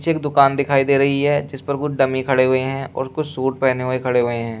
पीछे एक दुकान दिखाई दे रही है जिस पर कुछ डमी खड़े हुए हैं और कुछ सूट पहने हुए खड़े हुए हैं।